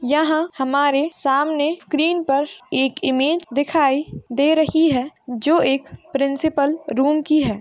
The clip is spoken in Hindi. यह हमारे सामने स्क्रीन पर एक इमेज दिखाई दे रही है जो एक प्रिन्सपल रूम की है।